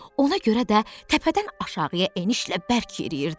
Ona görə də təpədən aşağıya enişlə bərk yeriyirdim.